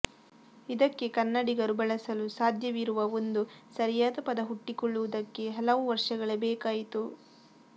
ಇದಕ್ಕೆ ಕನ್ನಡಿಗರು ಬಳಸಲು ಸಾಧ್ಯವಿರುವ ಒಂದು ಸರಿಯಾದ ಪದ ಹುಟ್ಟಿಕೊಳ್ಳುವುದಕ್ಕೆ ಹಲವು ವರ್ಷಗಳೇ ಬೇಕಾಯಿತು